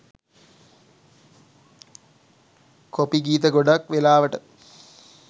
copy ගීත ගොඩක් වෙලාවට